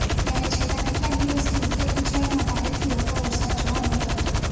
ત્યારે છેલ્લા કેટલાક દિવસથી ઉત્તર ગુજરાતમાં ભારેથી હળવો વરસાદ જોવા મળ્યો હતો